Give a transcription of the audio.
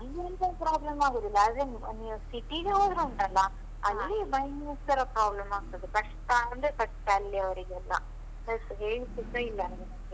ಅಲ್ಲಿ ಎಂತ problem ಆಗುದಿಲ್ಲ, ಆದ್ರೆ ನೀವ್ city ಗೆ ಹೋದ್ರೆ ಉಂಟಲ್ಲಾ. ಭಯಂಕರ problem ಆಗ್ತದೆ, ಕಷ್ಟ ಅಂದ್ರೆ ಕಷ್ಟ ಅಲ್ಲಿ ಅವರಿಗೆಲ್ಲ. ಹೇಳ್ಳಿಕ್ಕೇ ಸ ಇಲ್ಲ.